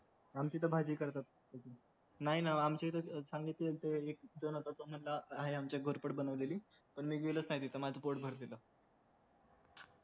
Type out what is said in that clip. आमची त भाजी करतात नाय ना आमच्या इथं चांगली केलते एक जण होता हाय आमच्या घोरपड बनवलेली पण मी गेलोच नाही तिथं माझं पोट भरलेल